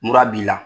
Mura b'i la